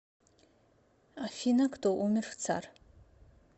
афина кто умер в цар